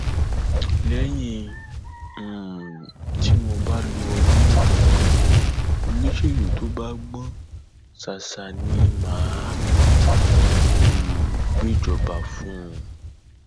lẹyìn um tí mo bá lo ọdún mẹjọ pé olóṣèlú tó bá gbọn ṣáṣá ni mà á um gbéjọba fún